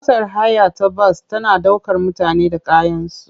Motar haya ta bas tana ɗaukar mutane da kayansu.